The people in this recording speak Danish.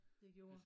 Det gjorde